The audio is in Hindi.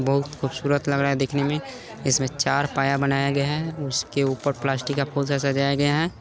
बहुत खूबसूरत लग रहा है देखने मे है इसमें चार पाया बनाया गया है जिसके ऊपर प्लास्टिक के फूल से सजाया गया है।